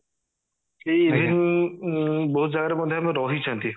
କି even ଉଁ ବହୁତ ଜାଗାରେ ମଧ୍ୟ ଆମେ ରହିଛନ୍ତି